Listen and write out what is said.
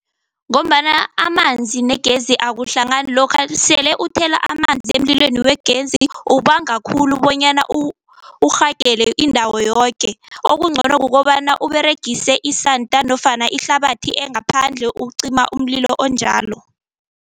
Ngombana amanzi negezi akuhlangani. Lokha sele uthela amanzi emlilweni wegezi uwubanga khulu bonyana urhagele indawo yoke. Okungcono kukobana uberegise isanda nofana ihlabathi engaphandle ukuqima umlilo onjalo.